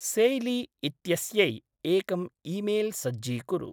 सेय्ली इत्यस्यै एकम् ईमेल् सज्जीकुरु।